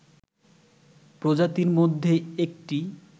প্রজাতির মধ্যে একটি